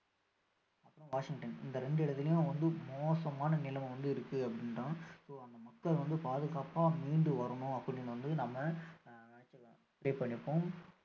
அப்பறோம் வாஷிங்டன் இந்த இரண்டு இடத்துலயும் வந்து மோசமான நிலமை வந்து இருக்கு அப்படின்றாங்க so அந்த மக்கள் வந்து பாதுகாப்பா மீண்டு வரனும் அப்படின்னு நம்ம ஆஹ் pray பண்ணிப்போம்